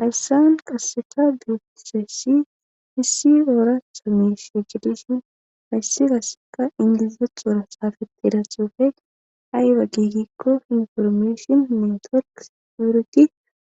Haysan qaseka betizaysi issi orata misha gididi haysi qaseka inglizatora xafetida xufe ayba gi giko information network security